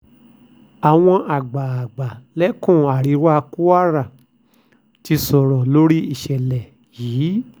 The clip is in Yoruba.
àwọn àgbààgbà lẹ́kùn àríwá kwara ti sọ̀rọ̀ lórí ìṣẹ̀lẹ̀ yìí